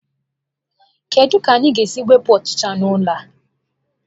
Kedu ka anyị ga-esi wepụ ọchịcha n'ụlọ a?